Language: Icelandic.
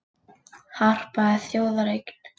Harpa er þjóðareign